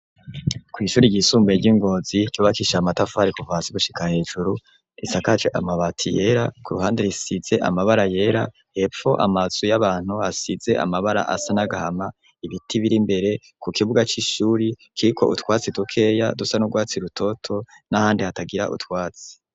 Kw'ishuri ryisumbaye ry'i Ngozi ryubakisha amatafari kuva hasi gushika hejuru risakaje amabati yera ku ruhande risize amabara yera, hepfo amazu y'abantu asize amabara asa n'agahama, ibiti biri mbere ku kibuga c'ishuri kiriko utwatsi dukeya dusa n'urwatsi rutoto, n'ahandi hatagira utwatsi.